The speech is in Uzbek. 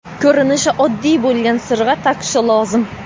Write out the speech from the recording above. ko‘rinishi oddiy bo‘lgan sirg‘a taqishi lozim.